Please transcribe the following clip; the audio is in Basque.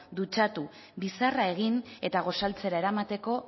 dutxatu bizarra egin eta gosaltzera eramateko